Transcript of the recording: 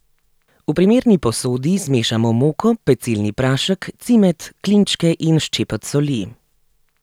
V primerni posodi zmešamo moko, pecilni prašek, cimet, klinčke in ščepec soli.